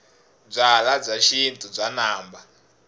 byalwabya xintu bya namba